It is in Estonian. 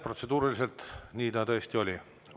Protseduuriliselt nii ta tõesti oli.